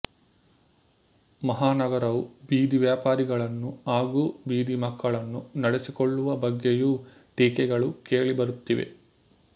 ಮಹಾನಗರವು ಬೀದಿ ವ್ಯಾಪಾರಿಗಳನ್ನು ಹಾಗೂ ಬೀದಿ ಮಕ್ಕಳನ್ನು ನಡೆಸಿಕೊಳ್ಳುವ ಬಗ್ಗೆಯೂ ಟೀಕೆಗಳು ಕೇಳಿಬರುತ್ತಿವೆ